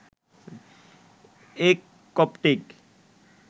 এক কপ্টিক